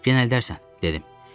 gen əldərsən, dedim.